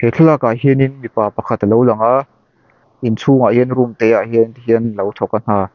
thlalakah hianin mipa pakhat a lo lang a inchhungah hian room te ah hian ti hian a lo thawk a hna.